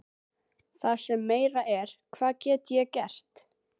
Það sem meira er, hvað get ég gert?